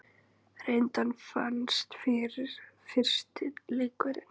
Reyndar vannst fyrsti leikur.